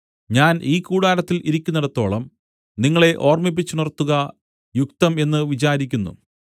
ഞാൻ ഈ കൂടാരത്തിൽ ഇരിക്കുന്നിടത്തോളം നിങ്ങളെ ഓർമ്മിപ്പിച്ചുണർത്തുക യുക്തം എന്ന് വിചാരിക്കുന്നു